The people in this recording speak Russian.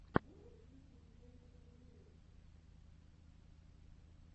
что посоветуешь из песен вэграндпа